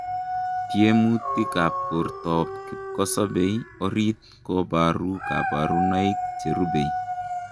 Tiemutiik ap portoop kipkosopei oriit koparuu kaparunoik cherubei